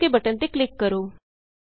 ਹੁਣ OKਬਟਨ ਤੇ ਕਲਿਕ ਕਰੋ